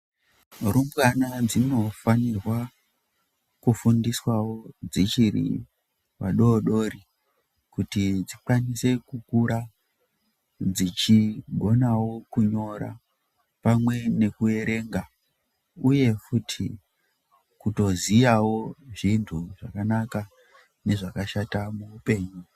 Rumbwana dzinofanirwa kufundiswawo dzichiri vadodori kuti dzikwanise kukura dzichigonawo kunyora pamwe nekuerenga uyewo futi utoziyawo zvintu zvakanaka nezvakashata muupenyu.